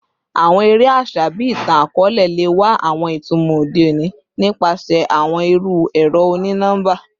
Awọn ere aṣa bii itan-akọọlẹ le wa awọn itumọ ode oni nipasẹ awọn iru ẹrọ oni-nọmba